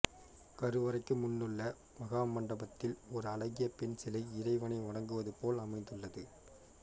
கருவறைக்கு முன்னுள்ள மகாமண்டபத்தில் ஒரு அழகிய பெண் சிலை இறைவனை வணங்குவதைப் போல அமைந்துள்ளது